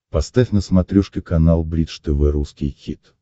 поставь на смотрешке канал бридж тв русский хит